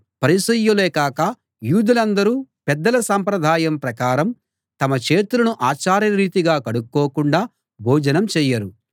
పరిసయ్యులే కాక యూదులందరూ పెద్దల సంప్రదాయం ప్రకారం తమ చేతులను ఆచారరీతిగా కడుక్కోకుండా భోజనం చేయరు